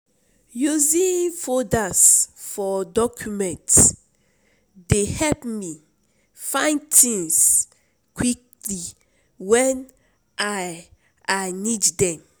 Using folders for documents dey help me find things quickly when I I need them.